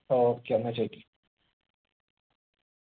okay എന്നാ ചോയിക്ക്